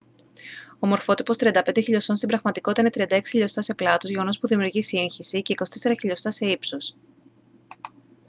ο μορφότυπος 35 χιλιοστών στην πραγματικότητα είναι 36 χιλιοστά σε πλάτος γεγονός που δημιουργεί σύγχυση και 24 χιλιοστά σε ύψος